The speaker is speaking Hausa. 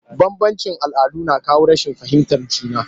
Bambanci all'adu na kawo rashin fahimtar juna